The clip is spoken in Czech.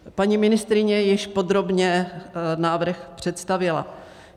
Paní ministryně již podrobně návrh představila.